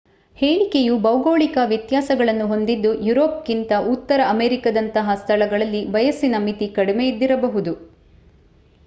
ಹೇಳಿಕೆಯು ಭೌಗೋಳಿಕ ವ್ಯತ್ಯಾಸಗಳನ್ನು ಹೊಂದಿದ್ದು ಯುರೋಪ್‌ಗಿಂತ ಉತ್ತರ ಅಮೆರಿಕದಂತಹ ಸ್ಥಳಗಳಲ್ಲಿ ವಯಸ್ಸಿನ ಮಿತಿ ಕಡಿಮೆ ಇದ್ದಿರಬಹುದು